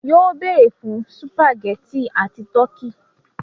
Yóó béèrè fún sùpàgẹ́tì and tọ́kì.